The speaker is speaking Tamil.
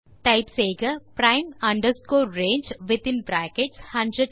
டைப் செய்க prime range வித்தின் பிராக்கெட்ஸ் 100200